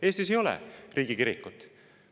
Eestis ei ole riigikirikut.